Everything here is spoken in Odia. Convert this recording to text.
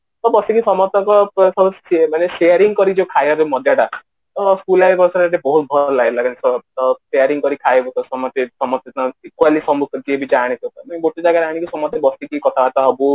ତ ବସିକି ସମସ୍ତଙ୍କ ଠାରୁ share ମାନେ Sharing କରିକି ଖାଇବାର ଯୋଉ ମଜା ଟା କେବଳ school life sharing କରିକି ଖାଇବୁ ତ ସମସ୍ତେ ସମସ୍ତେ ଯେମିତି ଯିଏ ବି ଯାହା ଆଣିଥିବ ସେମସ୍ତେ ଗୋଟେ ଜାଗାରେ ଆଣିକି ସମସ୍ତେ ବସିକି କଥାବାର୍ତା ହବୁ